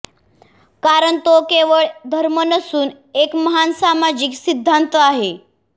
कारण तो केवळ धर्म नसून एक महान सामाजिक सिद्धांत आहे